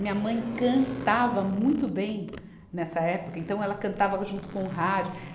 Minha mãe cantava muito bem nessa época, então ela cantava junto com o rádio.